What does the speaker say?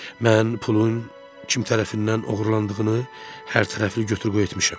Mən pulun kim tərəfindən oğurlandığını hər tərəfli götür-qoy etmişəm.